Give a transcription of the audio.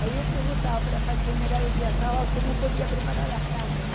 Aí eu perguntava para a faxineira de dia sábado como podia preparar as carnes.